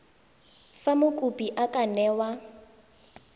fa mokopi a ka newa